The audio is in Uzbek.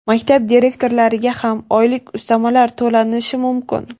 Maktab direktorlariga ham oylik ustamalar to‘lanishi mumkin.